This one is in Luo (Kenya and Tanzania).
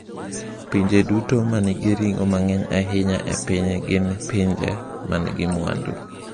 Pinje duto ma nigi ring’o mang’eny ahinya e piny gin pinje ma nigi mwandu.